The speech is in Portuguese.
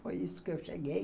Foi isso que eu cheguei.